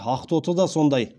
ақтоты да сондай